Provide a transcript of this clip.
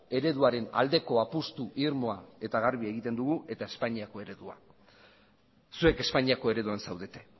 ereduaren aldeko apustu irmoa eta garbia egiten dugu eta espainiako eredua zuek espainiako ereduan zaudete